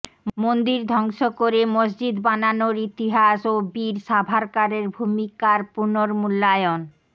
মন্দির ধ্বংস করে মসজিদ বানানোর ইতিহাস ও বীর সাভারকরের ভূমিকার পুর্নমূল্যায়ন